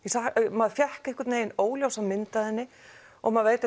maður fékk einhvern veginn óljósa mynd af henni og maður veit